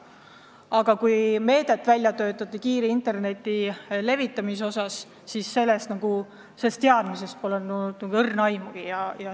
Aga kui töötati välja kiire internetiühenduse levitamise meedet, siis sellest teadmisest polnud nagu õrna aimugi.